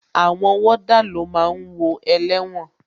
Àwọn wọ́dà ló máa ń wo ẹlẹ́wọ̀n